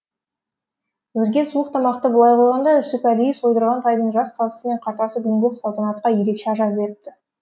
өзге суық тамақты былай қойғанда жүсіп әдейі сойдырған тайдың жас қазысы мен қартасы бүгінгі салтанатқа ерекше ажар беріпті